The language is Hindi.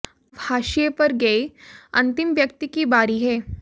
अब हाशिये पर गये अंतिम व्यक्ति की बारी है